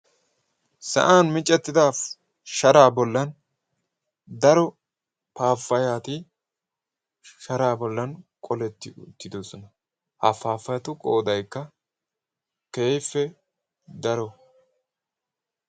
Sa'an micettida shara bollan daro paapayaati shara bollan qoletti uttidosona ha paafayatu qoodaykka keehippe daro.